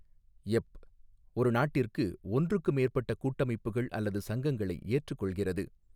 எப், ஒரு நாட்டிற்கு ஒன்றுக்கு மேற்பட்ட கூட்டமைப்புகள் அல்லது சங்கங்களை ஏற்றுக்கொள்கிறது.